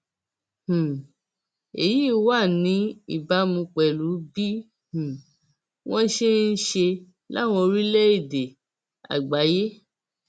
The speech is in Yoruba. um èyí wà ní ìbámu pẹlú bí um wọn ṣe ń ṣe láwọn orílẹèdè àgbáyé